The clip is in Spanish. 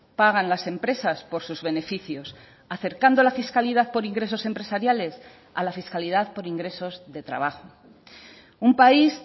pagan las empresas por sus beneficios acercando la fiscalidad por ingresos empresariales a la fiscalidad por ingresos de trabajo un país